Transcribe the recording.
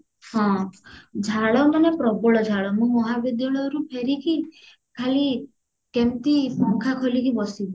ହଁ ଝାଳ ମନେ ପ୍ରବଳ ଝାଳ ମୁଁ ମହାବିଦ୍ୟାଳୟ ରୁ ଫେରିକି ଖାଲି କେମତି ପଙ୍ଖା ଖୋଲିକି ବସିବି